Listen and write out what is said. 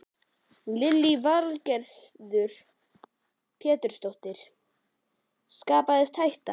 Lillý Valgerður Pétursdóttir: Skapaðist hætta?